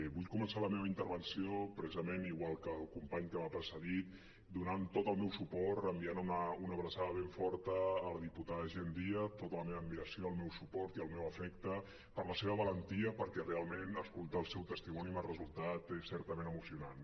vull començar la meva intervenció precisament igual que el company que m’ha precedit donant tot el meu suport enviant una abraçada ben forta a la diputada jenn díaz tota la meva admiració el meu suport i el meu afecte per la seva valentia perquè realment escoltar el seu testimoni m’ha resultat certament emocionant